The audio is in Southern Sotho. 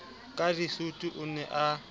ka disutu o ne a